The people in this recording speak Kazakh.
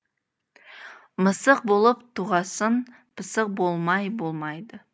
мысық болып туғасын пысық болмай болмайды